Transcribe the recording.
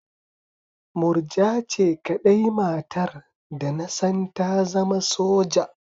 Murja ce kaɗai matar da na san ta zama soja